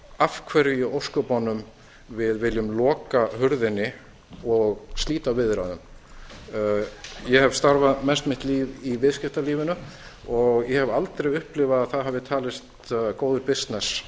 af hverju í ósköpunum við viljum loka hurðinni og slíta viðræðum ég hef starfað mest mitt líf í viðskiptalífinu og ég hef aldrei upplifað að það hafi talist góður bisness